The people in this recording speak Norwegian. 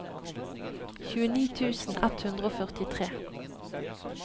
tjueni tusen ett hundre og førtitre